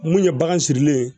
Mun ye bagan sirilen ye